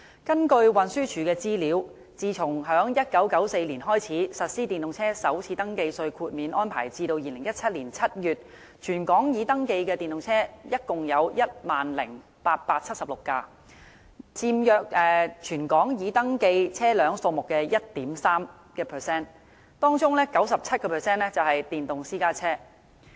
根據運輸署的資料顯示，自1994年開始實施電動車首次登記稅豁免安排至2017年7月，全港已登記的電動車共 10,876 輛，約佔全港已登記車輛數目的 1.3%， 當中的 97% 為電動私家車。